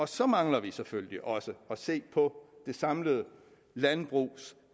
så mangler vi selvfølgelig også at se på det samlede landbrugs